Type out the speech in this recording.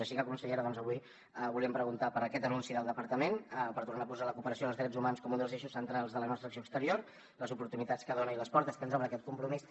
així que consellera avui volíem preguntar per aquest anunci del departament per tornar a posar la cooperació i els drets humans com un dels eixos centrals de la nostra acció exterior les oportunitats que dona i les portes que ens obre aquest compromís